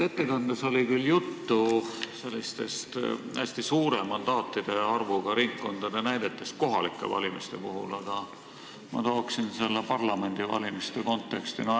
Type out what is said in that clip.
Ettekandes oli küll juttu sellistest hästi suure mandaatide arvuga ringkondadest kohalike valimiste puhul, aga ma toon selle teema parlamendivalimise konteksti.